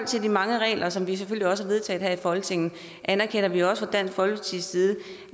til de mange regler som vi også har vedtaget her i folketinget anerkender vi også dansk folkepartis side